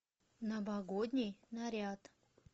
новогодний наряд